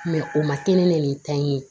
o ma kɛ ne ni ta in ye